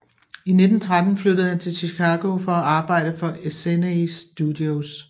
I 1913 flyttede han til Chicago for at arbejde for Essanay Studios